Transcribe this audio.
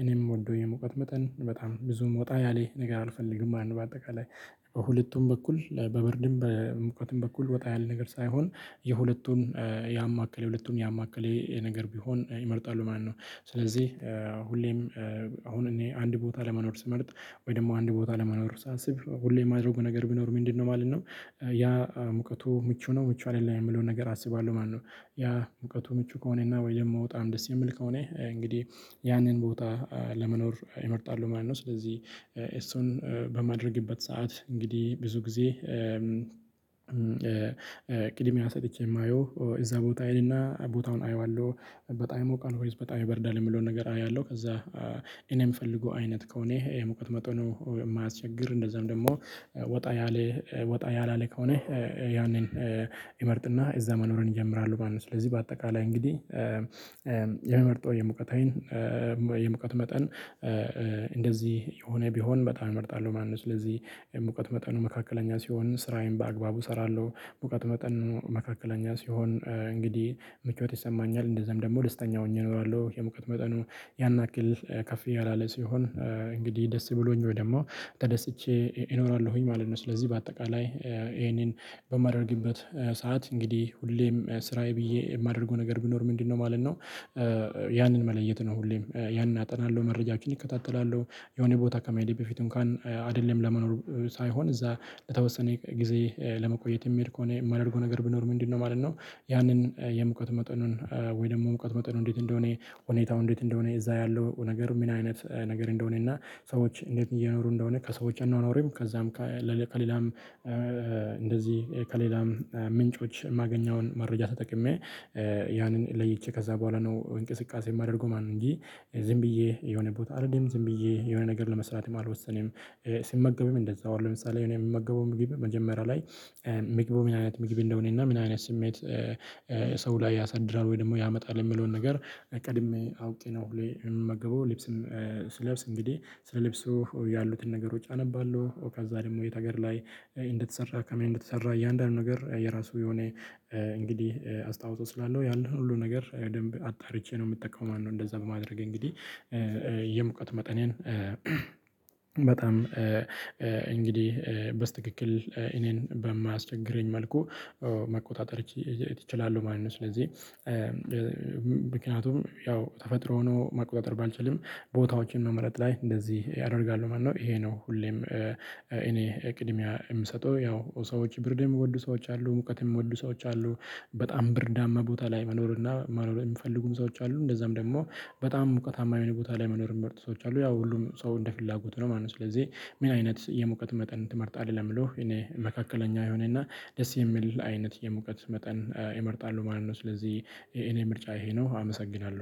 እኔም የምወደው የመውቀት መጠን በጣም ብዙም ወጣ ያለ ነገር አልፈልግም። አንድ በአጠቃላይ በሁለቱም በኩል በበርድም በሙቀትም በኩል ወጣ ያለ ነገር ሳይሆን የሁለቱን ያማከለ የሁለቱን ያማከለ ነገር ቢሆን ይመርጣሉ ማለት ነው። ስለዚህ ሁሌም አሁን እኔ አንድ ቦታ ለመኖር ስመርጥ ወይ ደግሞ አንድ ቦታ ለመኖር ሳስብ ሁሌ የማደርገው ነገር ቢኖር ምንድነው ማለት ነው። ያ ሙቀቱ ምቹ ነው ምቹ አይደለም የምለውን ነገር አስባለሁ ማለት ነው። ያ ሙቀቱ ምቹ ከሆነና ወይ ደግሞ በጣም ደስ የምል ከሆነ እንግዲህ ያንን ቦታ ለመኖር እመርጣሉ ማለት ነው። ስለዚህ ኤስቶን በማድረግበት ሰዓት እንግዲህ ብዙ ጊዜ ቅድሚያ ሰጥቼ የማየው እዛ ቦታ አይ እና ቦታውን አየዋለሁ በጣም ይሞቃል ወይስ በጣም ይብርዳል የሚለውን ነገር አየዋለሁ። ከዛ እኔ የምፈልገው አይነት ከሆነ ይሄ ሙቀት መጠኑ ነው የማያስቸግር እንደዛም ደግሞ ወጣ ያለ ወጣ ያላለ ከሆነ ያንን እመርጥና እዛ መኖርን እጀምራለሁ ማለት ነው። ስለዚህ በአጠቃላይ እንግዲህ የሙቀት አይን የሙቀት መጠን የሆነ ቢሆን በጣም እመርጣለሁ ማለት ነው። ስለዚህ እውቀት መጠኑ መካከለኛ ሲሆን ስራዬን በአግባቡ እሰራለሁ። እውቀት መጠኑ መካከለኛ ሲሆን እንግዲህ ምቾት ይሰማኛል እንደዛም ደግሞ ደስተኛ ሆኜ እኖራለሁ። የሙቀት መጠኑ ያን ያክል ከፍ ያለለ ሲሆን እንግዲህ ደስ ብሎኝ ወይ ደግሞ ተደስቼ እኖራለሁኝ ማለት ነው። ስለዚህ በአጠቃላይ ይሄንን በማደርግበት ሰዓት እንግዲህ ሁሌም ስራዬ ብዬ የማደርገው ነገር ቢኖር ምንድነው ማለት ነው። ያንን መለየት ነው። ሁሌም ያንን አጠናለሁ መረጃችን እከታተላለሁ የሆነ ቦታ ከመሄዴ በፊቱም ካአንድ አይደለም ለመኖር ሳይሆን እዛ ለተወሰነ ጊዜ ለመቆየት የሚሄድ ከሆነ የማደርገው ነገር ብኖር ምንድነው ማለት ነው። ያንን የሙቀት መጠኑን ወይ ደግሞ የሙቀት መጠኑን እንዴት እንደሆነ ሁኔታው እንዴት እንደሆነ እዛ ያለው ነገር ምን አይነት ነገር እንደሆነ እና ሰዎች እንዴት እየኖሩ እንደሆነ ከሰዎች አኖኖሪም ከዛም ከሌላም እንደዚህ ከሌላም ምንጮች የማገኘውን መረጃ ተጠቅሜ ያንን ለይቼ ከዛ በኋላ ነው እንቅስቃሴ የማደርገው ማለት ነው። እንጂ ዝም ብዬ የሆነ ቦታ አይደለም ዝም ብዬ የሆነ ነገር ለመስራት የማልወሰነው። ሲመገበውም እንደዛው አለ ለምሳሌ እኔ የምመገበውም ምግብ መጀመሪያ ላይ ምግብ ምን አይነት ምግብ እንደሆነ እና ምን አይነት ስሜት ሰው ላይ ያሳድራል ወይ ደግሞ ያመጣል የሚለውን ነገር ቀድሜ አውቄ ነው። የምመገበው ልብስም ስለብስ እንግዲህ ለብስህ ያሉትን ነገሮች አነባለሁ ኦካዛ ደግሞ የት ሀገር ላይ እንደተሰራ ከምን እንደተሰራ እያንዳንዱ ነገር የራሱ የሆነ እንግዲህ አስተዋፆ ስላለው ያለው ሁሉ ነገር በደንብ አጣርቼ ነው የምትጠቀመው። እንደዛ በማድረግ እንግዲህ የመቁቀት መጠኔን በጣም እንግዲህ በስተክክል እኔን በማያስቸግረኝ መልኩ መቆጣጠር እችላለሁ ማለት ነው። ስለዚህ ምክንያቱም ያው ተፈጥሮ ሆኖ መቆጣጠር ባልቻልንም ቦታዎችን መመረጥ ላይ እንደዚህ ያደርጋሉ ማነው? ይሄ ነው። ሁሌም እኔ ቅድሚያ የምሰጠው ያው ሰዎች ብርድም የምወዱ ሰዎች አሉ ሙቀትም የምወዱ ሰዎች አሉ። በጣም ብርዳማ ቦታ ላይ መኖር እና ማኖር የሚፈልጉም ሰዎች አሉ። እንደዛም ደግሞ በጣም ሙቀታማ ቦታ ላይ መኖር የሚመርጡ ሰዎች አሉ። ያው ሁሉም ሰው እንደ ፍላጎት ነው ማለት ነው። ስለዚህ ምን አይነት የመውቀት መጠን ትመርጣለህ? ለምለው እኔ መካከለኛ የሆነና ደስ የሚል አይነት የሙቀት መጠን እመርጣለሁ ማለት ነው። ስለዚህ እኔ ምርጫ ይሄ ነው አመሰግናለሁ